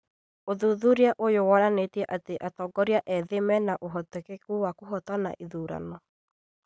ũthuthuria ũyũ wonanĩtie atĩ atongoria ethĩ mena ũhoteteku wa kũhotana ithurano